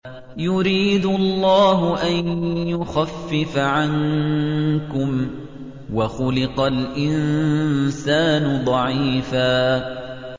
يُرِيدُ اللَّهُ أَن يُخَفِّفَ عَنكُمْ ۚ وَخُلِقَ الْإِنسَانُ ضَعِيفًا